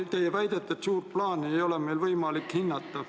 Te siin väitsite, et suurt plaani ei ole meil võimalik hinnata.